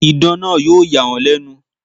Idán náà yóò yà wọ́n lẹ̀nu.